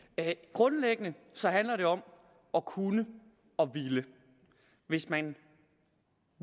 grundlæggende handler det om at kunne og ville hvis man